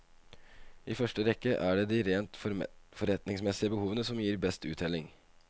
I første rekke er det rent forretningsmessige behovene som gir best uttelling.